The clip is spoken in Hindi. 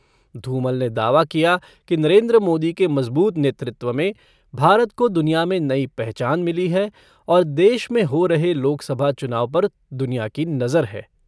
धूमल ने दावा किया कि नरेन्द्र मोदी के मज़बूत नेतृत्व में भारत को दुनिया में नई पहचान मिली है और देश में हो रहे लोकसभा चुनाव पर दुनिया की नज़र है।